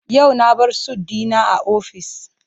Yau na bar sut dina a office.